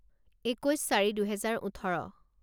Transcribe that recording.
একৈছ চাৰি দুহেজাৰ ওঠৰ